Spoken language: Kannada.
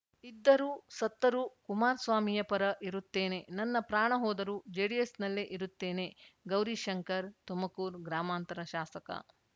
ಇದ್ದರೂ ಸತ್ತರೂ ಕುಮಾರಸ್ವಾಮಿಯ ಪರ ಇರುತ್ತೇನೆ ನನ್ನ ಪ್ರಾಣ ಹೋದರು ಜೆಡಿಎಸ್‌ನಲ್ಲೇ ಇರುತ್ತೇನೆ ಗೌರಿಶಂಕರ್‌ ತುಮಕೂರು ಗ್ರಾಮಾಂತರ ಶಾಸಕ